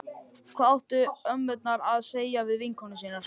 Hvað áttu ömmurnar að segja við vinkonur sínar?